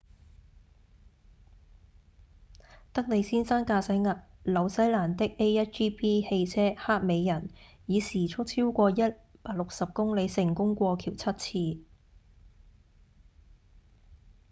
里德先生駕駛紐西蘭的 a1gp 汽車「黑美人」以時速超過160公里成功過橋七次